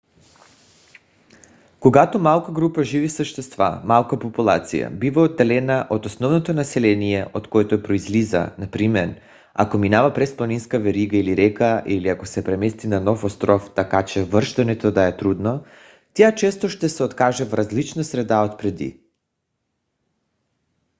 когато малка група живи същества малка популация бива отделена от основното население от което произлиза например ако минава през планинска верига или река или ако се премести на нов остров така че връщането да е трудно тя често ще се окаже в различна среда от преди